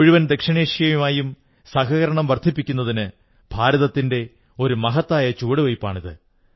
മുഴുവൻ ദക്ഷിണേഷ്യയുമായും സഹകരണം വർധിപ്പിക്കുന്നതിന് ഭാരതത്തിന്റെ ഒരു മഹത്തായ ചുവടുവയ്പ്പാണിത്